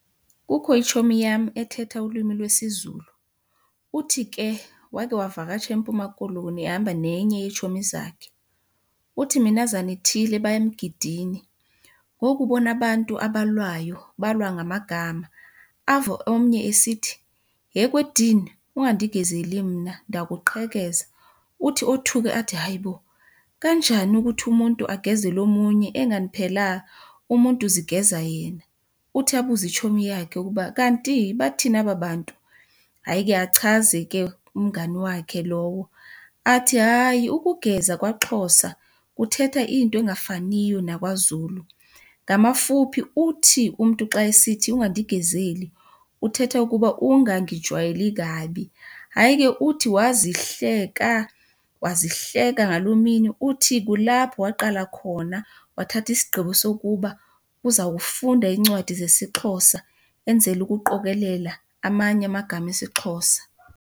Kukho itshomi yam ethetha ulwimi lwesiZulu. Uthi ke wakhe wavakatsha eMpuma Koloni ehamba nenye yeetshomi zakhe. Uthi minazana ithile baya emgidini, wokubona abantu abalwayo balwa ngamagama. Ave omnye esithi, yhe kwedini, ungandigezeli mna ndakuqhekeza. Uthi othuke athi, hayi bo, kanjani ukuthi umuntu akugezele omunye engani phela umuntu uzigeza yena? Uthi abuze itshomi yakhe ukuba kanti, bathini aba bantu. Hayi ke achaze ke umngani wakhe lowo athi, hayi, ukugeza kwaXhosa kuthetha into engafaniyo nakwaZulu. Ngamafuphi uthi umntu xa esithi ungandigezeli, uthetha ukuba ungangijwayeli kabi. Hayi ke uthi wazihleka wazihleka ngaloo mini. Uthi kulapho waqala khona wathatha isigqibo sokuba uzawufunda iincwadi zesiXhosa enzela ukuqokelela amanye amagama esiXhosa.